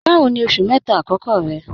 Báwò ní oṣù mẹ́ta akọkọ rẹ̀?